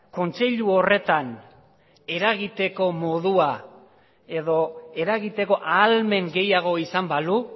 kontseilu horretan eragiteko modua edo eragiteko ahalmen gehiago izan balu